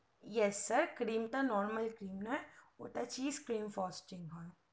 yes sir cream টা normal cream নয় ওটা costly হয়